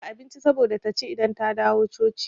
Na dafa abinci saboda taci idan ta dawo coci.